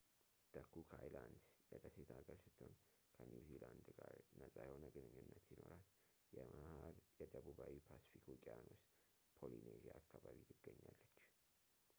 the cook islands የደሴት ሀገር ስትሆን ከኒውዚላንድ ጋር ነፃ የሆነ ግንኙነት ሲኖራት በመሀል የደቡባዊ ፓስፊክ ውቅያኖስ polynesia አካባቢ ትገኛለች